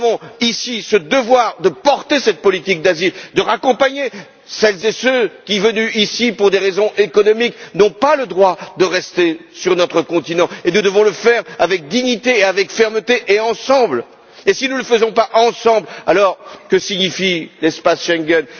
Nous avons ici ce devoir de porter cette politique d'asile, de raccompagner celles et ceux qui, venus ici pour des raisons économiques, n'ont pas le droit de rester sur notre continent. Nous devons le faire avec dignité et avec fermeté et ensemble. Si nous ne le faisons pas ensemble, alors que signifie l'espace Schengen?